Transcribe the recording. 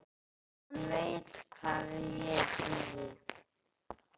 Hann veit hvar ég bý.